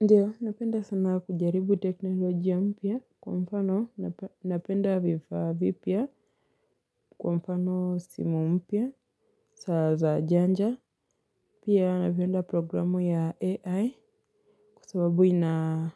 Ndiyo napenda sana kujaribu teknoloji ya mpia kwa mfano napenda viva vipia kwa mfano simu mpia saza janja. Pia napienda programu ya AI kusababui na